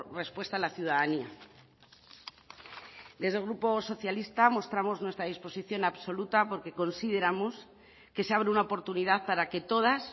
respuesta a la ciudadanía desde el grupo socialista mostramos nuestra disposición absoluta porque consideramos que se abre una oportunidad para que todas